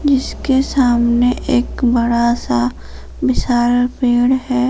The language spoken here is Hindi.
इसके सामने एक बड़ा सा विशाल पेड़ है।